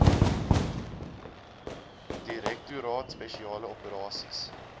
direktoraat spesiale operasies